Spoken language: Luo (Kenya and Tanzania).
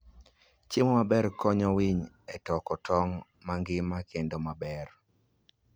Chiemo maber konyo winy e toko tong' mangima kendo maber.